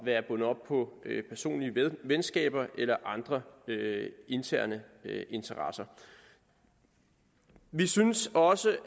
være bundet op på personlige venskaber eller andre interne interesser vi synes også